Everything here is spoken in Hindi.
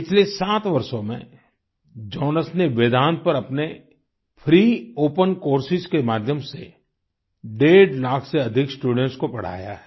पिछले 7 वर्षों में जॉनस ने वेदांत पर अपने फ्री ओपन कोर्सेस के माध्यम से डेढ़ लाख से अधिक स्टूडेंट्स को पढ़ाया है